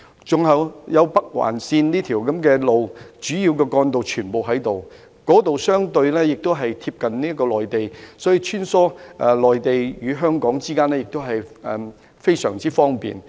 此外，該區也有北環線的道路，主要的幹道全部在那裏，亦相對貼近內地，所以要穿梭內地與香港之間，亦都非常方便。